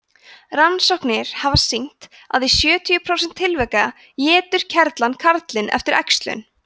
rannsóknir hafa sýnt að í sjötíu prósent tilvika étur kerlan karlinn eftir æxlun